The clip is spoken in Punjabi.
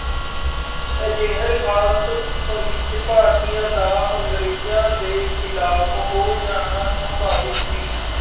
ਅਜਿਹੀ ਹਾਲਤ ਵਿੱਚ ਭਾਰਤੀਆਂ ਦਾ ਅੰਗਰੇਜ਼ਾਂ ਦੇ ਖਿਲਾਫ਼ ਹੋ ਜਾਣਾ ਸੰਭਾਵਿਕ ਸੀ।